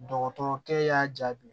Dɔgɔtɔrɔkɛ y'a jaabi